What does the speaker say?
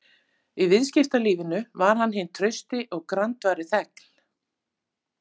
Í viðskiptalífinu var hann hinn trausti og grandvari þegn.